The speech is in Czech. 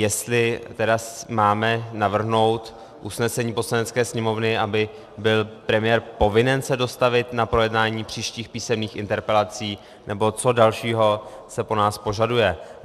Jestli tedy máme navrhnout usnesení Poslanecké sněmovny, aby byl premiér povinen se dostavit na projednání příštích písemných interpelací, nebo co dalšího se po nás požaduje.